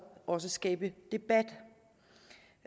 også skabe debat